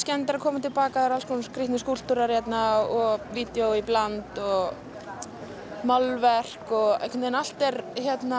að koma til baka það eru alls konar skrítnir skúlptúrar og vídeó í bland og málverk og allt er